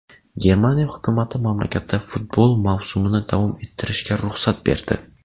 Germaniya hukumati mamlakatda futbol mavsumini davom ettirishga ruxsat berdi.